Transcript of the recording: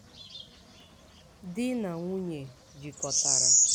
di na nwunye jikọtara